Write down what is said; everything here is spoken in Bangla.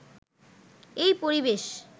এই পরিবেশ